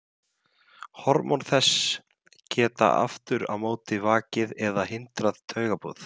hormón þess geta aftur á móti vakið eða hindrað taugaboð